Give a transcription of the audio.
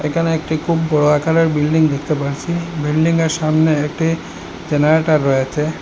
এখানে একটি খুব বড় আকারের বিল্ডিং দেখতে পাচ্ছি বিল্ডিংয়ের সামনে একটি জেনারেটর রয়েছে।